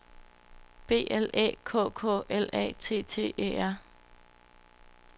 B L Æ K K L A T T E R